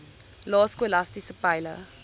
lae skolastiese peile